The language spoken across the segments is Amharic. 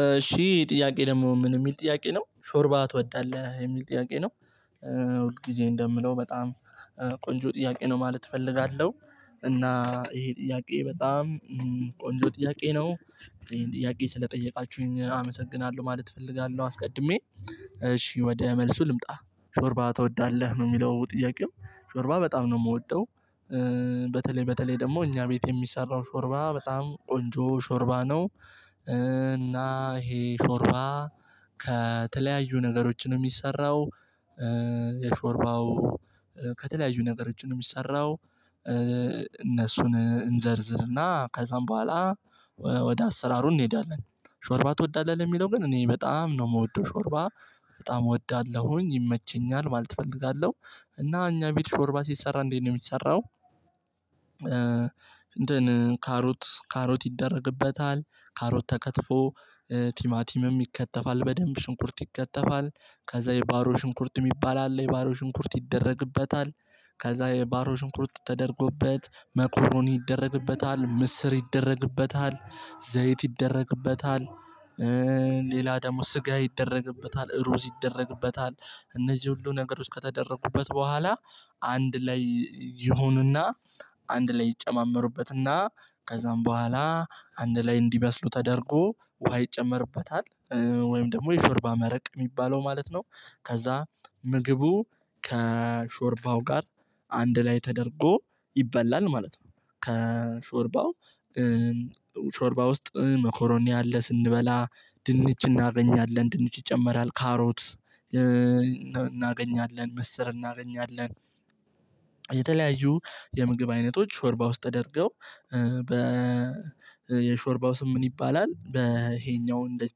እሺ ጥያቄ ደግሞ ምን የሚል ጥያቄ ነው ሾርባ ትወዳለህ የሚል ጥያቄ ነው? ሁል ጊዜ እንደምለው በጣም ቆንጆ ጥያቄ ነው ማለት እፈልጋለሁ። እና ይሄ ጥያቄ በጣም ቆንጆ ጥያቄ ነው። ይሄን ጥያቄ ስለጠየቃችሁኝ አመሰግናለሁ ማለት እፈልጋለሁ አስቀድሜ እሺ ወደ መልሱ ልምጣ። ሾርባ ትወዳለህ ነው የሚለው ጥያቄው ሾርባ በጣም ነው የምወጣው። በተለይ በተለይ ደግሞ እኛ ቤት የሚሰራው ሾርባ በጣም ቆንጆ ሾርባ ነው። እና ይሄ ሾርባ ከተለያዩ ነገሮች ነው የሚሰራው። የሾርባው ከተለያዩ ነገር ነው የሚሰራው። እነሱን እንዘርዝርና ከዛም በኋላ ወደ አሰራሩ እንሄዳለን። ሾርባ ትወዳለህ ለሚለው ግን እኔ በጣም ነው የምወደው ሾርባ በጣም እወዳለሁኝ ይመቸኛል ማለት እፈልጋለሁ። እና እኛ ቤት ሾርባ ሲሰራ እንዴት ነው የሚሰራው? እንትን ካሮት ካሮት ይደረግበታል ካሮት ተከትፎ ቲማቲምም ይከተፋል በደንብ ሽንኩርት ይከተፋል። ከዛ የባሮ ሽንኩርት የሚባል አለ የባሮ ሽንኩርት ይደረግበታል። ከዛ የባሮ ሽንኩርት ተደርጎበት መኮረኒ ይደረግበታል ምስር ይደረግበታል ዘይት ይደረግበታል። ሌላ ደግሞ ስጋ ይደረግበታል እሩዝ ይደረግበታል። እነዚህ ሁሉ ነገርሮች ከተደረጉበት በኋላ አንድ ላይ ይሆኑና አንድ ላይ ይጨማመሩበትና ከዛም በኋላ አንድ ላይ እንዲበስሉ ተደርጎ ውሃ ይጨመርበታል። ወይም ደግሞ የሾርባ መረቅ የሚባለው ማለት ነው። ከዛ ምግቡ ከሾርባው ጋር አንድ ላይ ተደርጎ ይበላል ማለት ነው። ከሾርባው ሾርባ ውስጥ መኮሮኒ አለ ስንበላ ድንች እናገኛለን ድንች ይጨመራል ካሮት እናገኛለን ምስር እናገኛለን። የተለያዩ የምግብ አይነቶች ሾርባ ውስጥ ተደርገው በ የሾርባው ስም ምን ይባላል? በይሄኛው እንደዚህ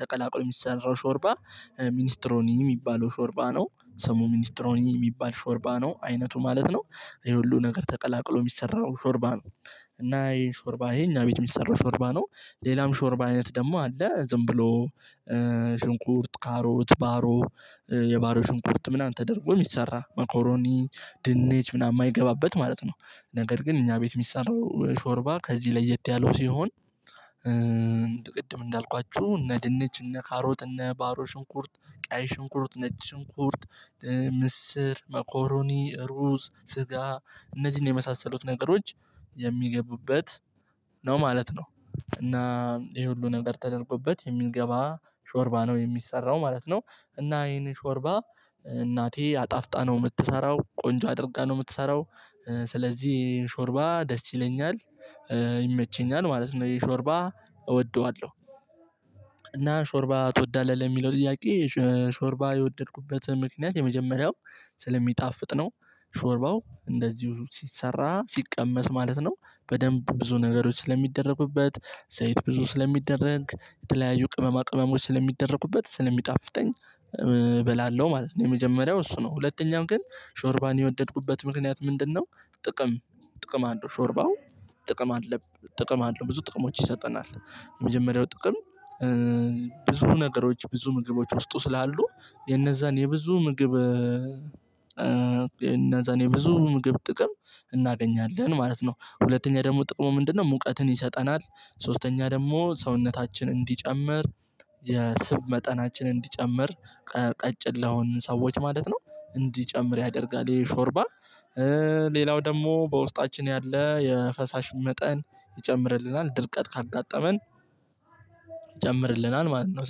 ተቀላቅሎ የሚሰራው ሾርባ ሚኒስትሮኒ የሚባለው ሾርባ ነው። ሰሙ ሚኒስትሮኒ የሚባል ሾርባ ነው አይነቱ ማለት ነው። ይሄ ሁሉ ነገር ተቀላቅሎ የሚሰራው ሾርባ ነው። እና ይሄን ሾርባ ይሄ የኛ ቤት የሚሰራው ሾርባ ነው። ሌላም ሾርባ አይነት ደግሞ አለ ዝም ብሎ ሽንኩርት ካሮት ባሮ የባሮ ሽንኩርት ምናምን ተደርጎ የሚሰራ መኮሮኒ ድንች ምናምን የማይገባበት ማለት ነው። ነገር ግን እኛ ቤት የሚሰራው ሾርባ ከዚህ ለየት ያለው ሲሆን። ቅድም እንዳልኳችሁ እነ ድንች እነ ካሮጥ እነ ባሮ ሽንኩርት ቀይ ሽንኩርት ነጭ ሽንኩርት ምስር ሞኮሩኒ ሩዝ ስጋ እነዚህን የመሳሰሉት ነገሮች የሚገቡበት ነው ማለት ነው እና ይሄ ሁሉ ነገር ተደርጎበት የሚንገባ ሾርባ ነው የሚሰራው ማለት ነው። እና ይሄን ሾርባ እናቴ አጣፍጣ ነው የምትሰራው ቆንጆ አድርጋ ነው የምትሰራው ስለዚህ ይሄ ሾርባ ደስ ይለኛል። ይመቸኛል ማለት ነው ይሄ ሾርባ እወደዋለሁ። እና ሾርባ ትወዳለህ ለሚለው ጥያቄ ሾርባ የወደድኩበት ምክንያት የመጀመሪያው ስለሚጣፍጥ ነው። ሾርባው እንደዚሁ ሲሰራ ሲቀመስ ማለት ነው በደንብ ብዙ ነገሮች ስለሚደረግበት ዘይት ብዙ ስለሚደረግ የተለያዩ ቅመማ ቅመሞች ስለሚደረግበት ስለሚጣፍጠኝ እበላለሁ ማለት ነው። የመጀመሪያው እሱ ነው ሁለተኛው ግን ሾርባን የወደድኩበት ምክንያት ምንድነው? ጥቅም ጥቅም አለው ሾርባው ጥቅም አለብ ጥቅም አለው ብዙ ጥቅሞች ይሰጠናል። የመጀመሪያው ጥቅም ብዙ ነገሮች ብዙ ምግቦች ውስጡ ስላሉ የነዛን የብዙ ምግብ እኔ ብዙ ምግብ ጥቅም እናገኛለን ማለት ነው። ሁለተኛ ደግሞ ጥቅሙ ምንድነው? ሙቀትን ይሰጠናል። ሶስተኛ ደግሞ ሰውነታችን እንዲጨምር የስብ መጠናችን እንዲጨምር ቀጭን ለሆንን ሰዎች ማለት ነው። እንዲጨምር ያደርጋል ይሄ የሾርባ። ሌላው ደግሞ በውስጣችን ያለ የፈሳሽ መጠን ይጨምርልናል ድርቀት ካጋጠመን ይጨምርልናል ማለት ነው።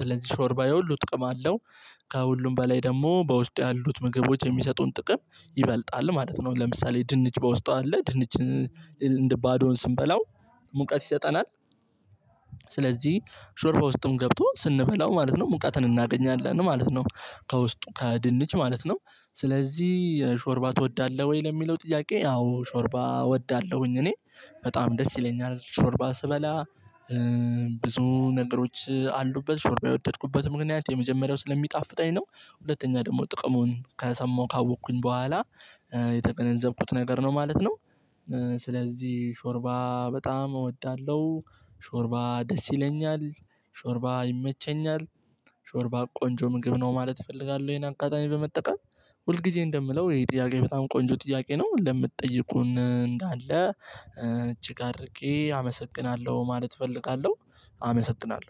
ስለዚህ ሾርባ የሁሉ ጥቅም አለው። ከሁሉም በላይ ደግሞ በውስጡ ያሉት ምግቦች የሚሰጡን ጥቅም ይበልጣል ማለት ነው። ለምሳሌ ድንች በውስጧ አለ ድንች እንደ ባዶውን ስንበላው ሙቀት ይሰጠናል። ስለዚህ ሾርባ ውስጥም ገብቶ ስንበላው ማለት ነው ሙቃትን እናገኛለን ማለት ነው። ከውስጡ ከድንች ማለት ነው። ስለዚህ ሾርባ ትወዳለሁ ወይ ለሚለው ጥያቄ? አዎ ሾርባ እወዳለሁኝ እኔ በጣም ደስ ይለኛል ሾርባ ስበላ። ብዙ ነገሮች አሉበት ሾርባ የወደድኩበት ምክንያት የመጀመሪያው ስለሚጣፍጠኝ ነው። ሁለተኛ ደግሞ ጥቅሙን ከሰማሁ ካወቅኩኝ በኋላ የተገነዘብኩት ነገር ነው ማለት ነው። ስለዚህ ሾርባ በጣም እወዳለሁ። ሾርባ ደስ ይለኛል። ሾርባ ይመቸኛል። ሾርባ ቆንጆ ምግብ ነው ማለት እፈልጋለሁ። ይሄን አጋጣሚ በመጠቀም ሁል ጊዜ እንደምለው ይሄ ጥያቄ በጣም ቆንጆ ጥያቄ ነው። ለምትጠይቁን እንዳለ እጅግ አድርጌ አመሰግናለሁ ማለት እፈልጋለሁ። አመሰግናለሁ